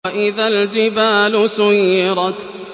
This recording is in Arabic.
وَإِذَا الْجِبَالُ سُيِّرَتْ